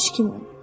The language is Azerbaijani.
Heç kimin.